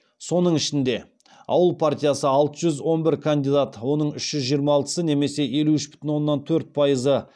соның ішінде ауыл партиясы алты жүз он бір кандидат оның үш жүз жиырма алтысы немесе елу үш бүтін оннан төрт пайызы